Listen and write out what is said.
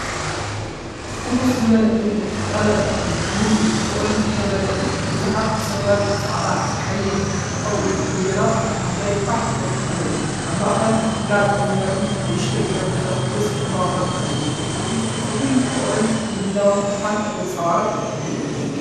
ብፍኹስ ዝበለ ሕብሪ ዝተቐብአ ክፍሊ ብምልኡ ብፍቕርን ዝተመልአ እዩ። ብዙሓት ብሰማያዊ፡ ጻዕዳን ቀይሕን ዝተቐብኡ ባሎናት ኣብ መሬት ፋሕ ኢሎም ኣለዉ። ኣብ ማእከል ግራጭ መንበርን ንእሽቶ ጠረጴዛን ምስ ዕንበባታት ኣሎ። እቲ ራእይ ንፍቕርን ምድላውን ተስፋን ዘንጸባርቕ እዩ።